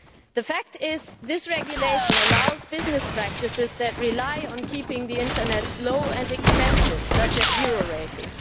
The fact is that this regulation allows business practices that rely on keeping the internet slow and expensive, such as zero rating